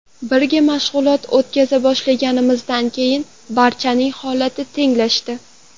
Birga mashg‘ulot o‘tkaza boshlaganimizdan keyin barchaning holati tenglashdi.